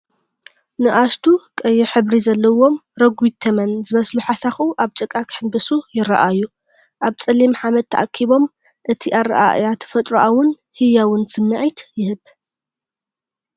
ንኣሽቱ፣ ቀይሕ ሕብሪ ዘለዎም፣ ረጒድ ተመን ዝመስሉ ሓሳኹ ኣብ ጭቃ ክሕንብሱ ይረኣዩ፣ ኣብ ጸሊም ሓመድ ተኣኪቦም፤ እቲ ኣረኣእያ ተፈጥሮኣውን ህያውን ስምዒት ይህብ።